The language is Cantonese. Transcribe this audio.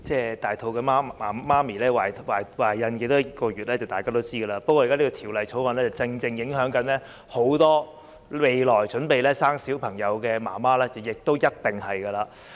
大家也知道成為母親需要懷孕多少個月，所以《2019年僱傭條例草案》影響很多未來準備生育小朋友的準母親是必然的事情。